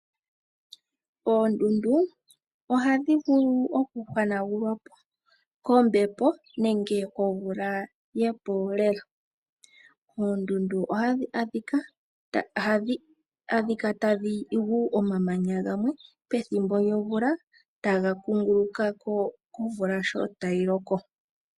Oondundu ohadhi vulu okuhanagulwa po kombepo nenge komvula yepoola. Oondundu ohadhi kala tadhi gu omamanya gamwe pethimbo lyomvula, ta ga kunguluka ko omvula shi tayi loko.